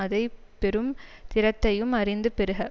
அதை பெறும் திறத்தையும் அறிந்து பெறுக